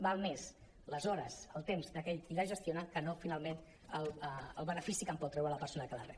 val més les hores el temps d’aquell qui la gestiona que no finalment el benefici que en pot treure la persona que la rep